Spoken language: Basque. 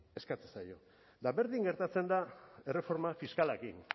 eskatzen zaio eta berdin gertatzen da erreforma fiskalarekin